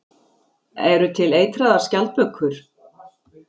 Eru til eitraðar skjaldbökur?